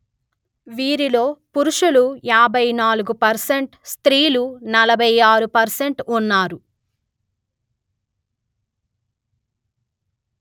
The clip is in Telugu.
వీరిలో పురుషులు యాభై నాలుగు% స్త్రీలు నలభై ఆరు% ఉన్నారు